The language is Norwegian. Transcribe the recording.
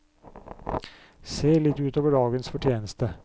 Se litt ut over dagens fortjeneste.